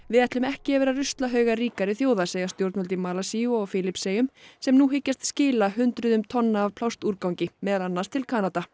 við ætlum ekki að vera ruslahaugar ríkari þjóða segja stjórnvöld í Malasíu og á Filippseyjum sem nú hyggjast skila hundruðum tonna af plastúrgangi meðal annars til Kanada